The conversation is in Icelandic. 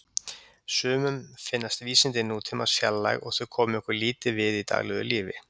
Sumum finnast vísindi nútímans fjarlæg og þau komi okkur lítið við í daglegu lífi.